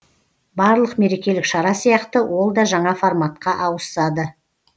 барлық мерекелік шара сияқты ол да жаңа форматқа ауысады